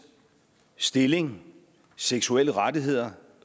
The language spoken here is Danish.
stilling seksuelle rettigheder